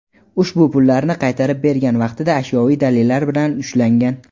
ushbu pullarni qaytarib bergan vaqtida ashyoviy dalillar bilan ushlangan.